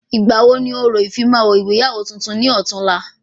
Ìgbà wo ni orò ìfimawo ìyàwó tuntun ni ọ̀túla?